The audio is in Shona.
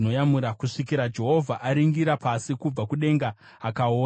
kusvikira Jehovha aringira pasi kubva kudenga akaona.